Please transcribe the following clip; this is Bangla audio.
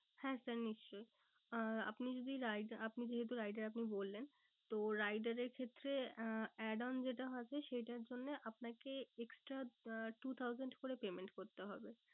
হ্যাঁ sir নিশ্চই। আহ আপনি যদি আপনি যেহেতু rider আপনি বললেন। তো rider এর ক্ষেত্রে আহ add on যেটা থাকে সেটার জন্য আপনাকে extra আহ two thousand করে payment করতে হবে।